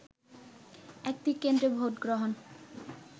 একটি কেন্দ্রে ভোটগ্রহণ